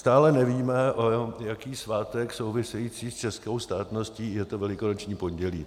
Stále nevíme, jaký svátek související s českou státností je to Velikonoční pondělí.